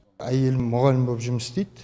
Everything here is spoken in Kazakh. әйелім мұғалім болып жұмыс істейді